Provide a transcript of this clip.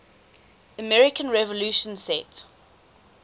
american revolution set